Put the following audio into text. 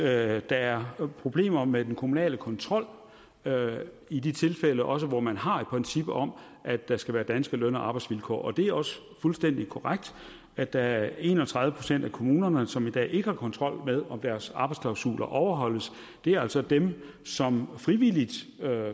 at der er problemer med den kommunale kontrol i de tilfælde også hvor man har et princip om at der skal være danske løn og arbejdsvilkår og det er også fuldstændig korrekt at der er en og tredive procent af kommunerne som i dag ikke har kontrol med om deres arbejdsklausuler overholdes det er altså dem som frivilligt